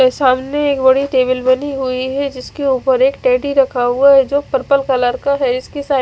और सामने एक बड़ी टेबल बनी हुई है जिसके उपर एक टेडी रखा हुआ है जो पर्पल कलर का है जिसकी साइड --